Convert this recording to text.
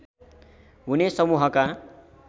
हुने समूहका